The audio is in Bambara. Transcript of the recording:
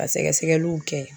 Ka sɛgɛsɛgɛliw kɛ